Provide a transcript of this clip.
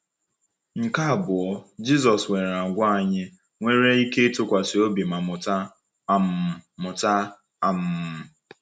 Nke abụọ, Jisọs nwere àgwà anyị nwere ike ịtụkwasị obi ma mụta. um mụta. um